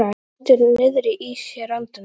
Hann heldur niðri í sér andanum.